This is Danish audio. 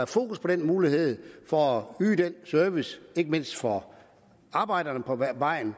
fokus på den mulighed for at yde den service ikke mindst for arbejderne på vejen